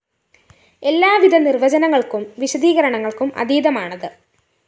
എല്ലാവിധ നിര്‍വചനങ്ങള്‍ക്കും വിശദീകരണങ്ങള്‍ക്കും അതീതമാണത്